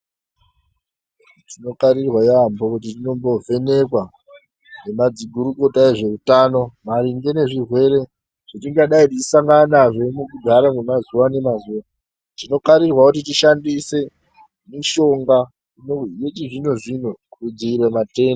Tinokarirwa yaambo kuti tinomboovhenekwa nemadzigurukota ezveutano maringe nezvirwere zvetingadai teisangana nazvo mukugara wemazuwa nemazuwa. Tinokarirwa kuti tishandise mishonga yechizvino-zvino kudziirire matenda.